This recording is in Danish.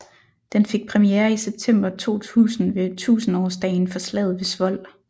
Den fik premiere i september 2000 ved tusindårsdagen for slaget ved Svold